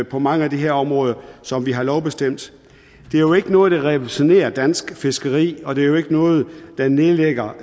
på mange af de her områder som vi har lovbestemt det er jo ikke noget der revolutionerer dansk fiskeri og det er jo ikke noget der nedlægger